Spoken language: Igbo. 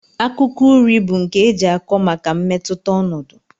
Akụkọ uri bu nke eji akọ maka mmetụta ọnọdụ.